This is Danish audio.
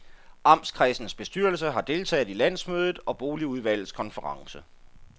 Amtskredsens bestyrelse har deltaget i landsmødet og boligudvalgets konference.